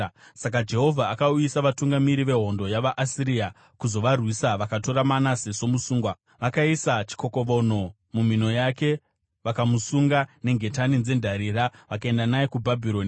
Saka Jehovha akauyisa vatungamiri vehondo yavaAsiria kuzovarwisa vakatora Manase somusungwa, vakaisa chikokovonho mumhino yake, vakamusunga nengetani dzendarira vakaenda naye kuBhabhironi.